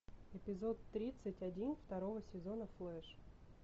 эпизод тридцать один второго сезона флэш